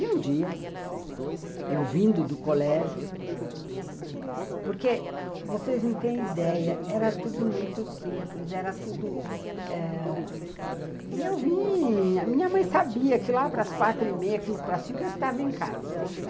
E um dia, eu vindo do colégio, porque vocês não têm ideia, era tudo muito simples, era tudo...eh... E eu vinha, minha mãe sabia que lá para as quatro e meia, quinze para cinco, eu estava em casa.